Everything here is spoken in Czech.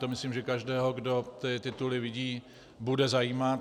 To myslím, že každého, kdo ty tituly vidí, bude zajímat.